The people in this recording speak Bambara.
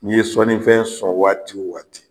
N'i ye sɔnnifɛn sɔn waati o waati